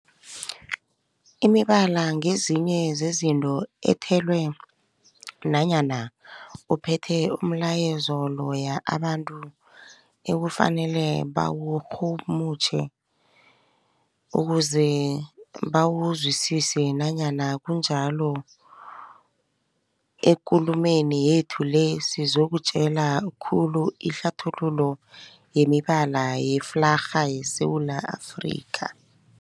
Imibala ngezinye zezinto ethelwe nanyana ephethe umlayezo loyo abantu ekufanele bawurhumutjhe ukuze bawuzwisise. Nanyana kunjalo, ekulumeni yethu le sizokutjheja khulu ihlathululo yemibala yeflarha yeSewula Afrika.